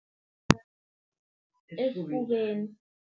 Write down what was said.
Esfubeni.